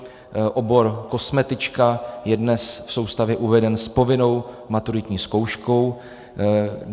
Obor kosmetička je dnes v soustavě uveden s povinnou maturitní zkouškou.